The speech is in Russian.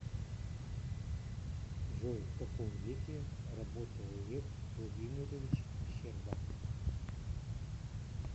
джой в каком веке работал лев владимирович щерба